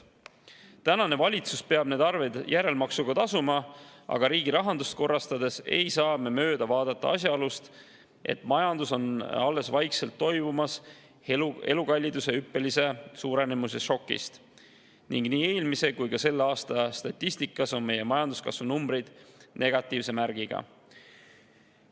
Tänane valitsus peab need arved järelmaksuga tasuma, aga riigi rahandust korrastades ei saa me mööda vaadata asjaolust, et majandus alles toibub vaikselt elukalliduse hüppelise suurenemise šokist ning nii eelmise kui ka selle aasta statistikas on meie majanduskasvu numbrid negatiivse märgiga.